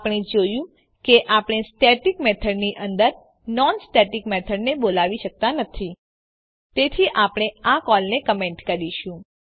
આપણે જોયું કે આપણે સ્ટેટિક મેથડની અંદર નોન સ્ટેટિક મેથડને બોલાવી શકતા નથી તેથી આપણે આ કોલને કમેન્ટ કરીશું